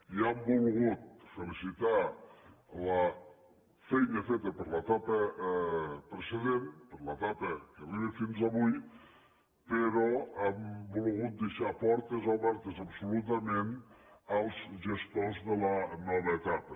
i hem volgut felicitar la feina feta per l’etapa precedent per l’etapa que arriba fins avui però hem volgut deixar portes obertes absolutament als gestors de la nova etapa